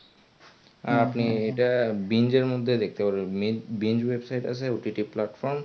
আর আপনি এটা binge এর মধ্যে দেখতে পাবেন binge website আছে OTT Platfrom